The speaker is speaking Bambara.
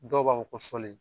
Dɔw b'a fɔ ko sɔlen